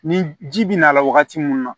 Ni ji bɛ na la wagati mun na